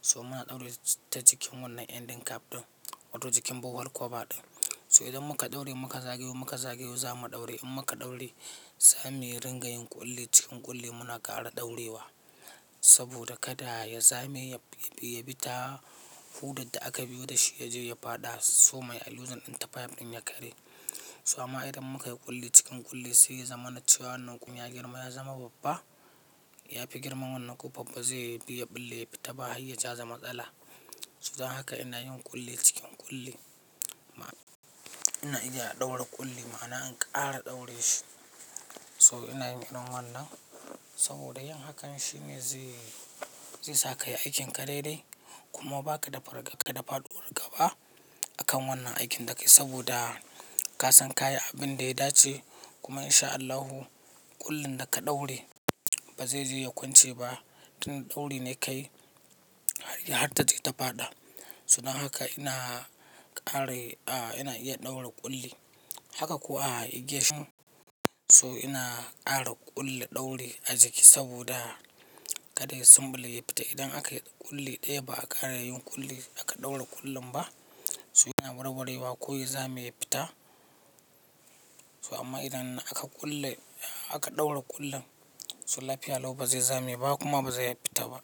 So muna ɗaure ta jikin wannan ending cap ɗin wato jikin borehole cover ɗin. So idan muka ɗaure muka zagayo muka zagayo za mu ɗaure in muka ɗaure, za mu yi ringayen ƙulli cikin ƙulli muna ƙara ɗaurewa. Saboda kada ya zame ya bi ta hudan da aka biyo da shi ya je ya faɗa somar ayi loosing ɗin ta pipe ɗin ya karye. So amma idan muka yi ƙulli cikin ƙulli sai ya zamana cewa wannan kuma ya girma ya zama babba, ya fi girman wannan ƙofar ba zai bi ya ɓille ya fita ba, har ya jaza matsala. Don haka ina yin ƙulli cikin ƙulli. Ina iya ɗaura ƙulli ma'ana in ƙara ɗaure shi. So ina yin wannan saboda yin hakan shine zai sa ka yi aikin ka daidai, kuma ba ka da fargaba ko da faduwar gaba a kan wannan aikin da ka yi saboda ka san ka yi abin da ya dace kuma in sha Allahu ƙullin da ka ɗaure ba zai je ya kwance ba tunda ɗauri ne ka yi har ta je ta faɗa. Su dan haka ina ƙara ina iya ɗaura ƙulli. Haka kuwa igiyar shi. So ina ƙara ƙulle ɗauri a jiki saboda kada ya sumɓule ya fita idan aka yi ƙulli ɗaya ba a ƙara yin ƙulli aka ɗaura ƙullin ba. So yana warwarewa ko ya zame ya fita. So amma idan aka ƙulle aka ɗaura ƙullin so lafiya lau ba zai zame ba kuma ba zai fita ba.